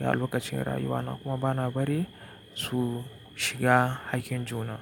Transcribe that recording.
da lokacin rayuwana kuma bana bari su shiga haƙƙin juna.